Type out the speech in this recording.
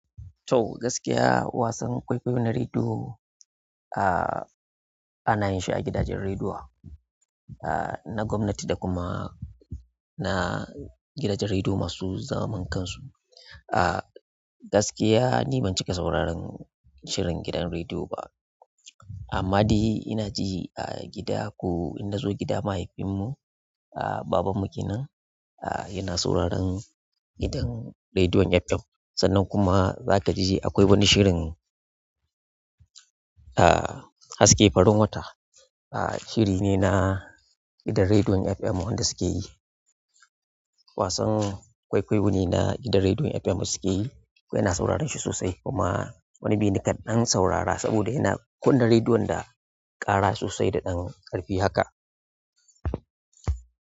To gaskiya wasan kwaikwayo na rediyo, a ana yin shi a gidajen rediyo na gwamnati da kuma na gidajen rediyo masu zaman kansu. A gaskiya ni ban cika sauraron shirin gidan rediyo ba amma dai ina ji a gida ko in na zo gida mahaifinmu, a babanmu kenan a yana sauraron gidan rediyon FM. Sannan kuma za ka ji akwai wani shirin a haske farin wata. A shiri ne na gidan rediyon FM wanda suke yi. Wasan kwaikwayo ne na gidan rediyon FM da suke yi. Kuma yana saurarin shi sosai kuma wani biyu ni kaɗan saurara saboda yana kunna rediyon da ƙara sosai da ɗan ƙarfi haka.